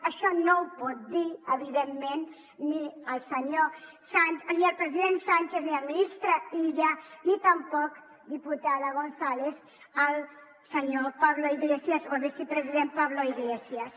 això no ho pot dir evidentment ni el president sánchez ni el ministre ni tampoc diputada gonzález el senyor pablo iglesias o el vicepresident pablo iglesias